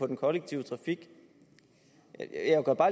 den kollektive trafik jeg gør bare